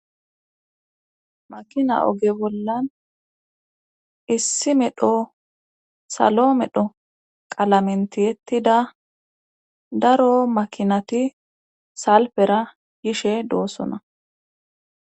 Makina oge bollan issi medho salo medho qalamentiyettida daro makinati salfera gishe doossona.